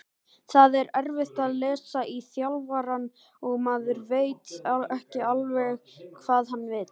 Það er erfitt að lesa í þjálfarann og maður veit ekki alveg hvað hann vill.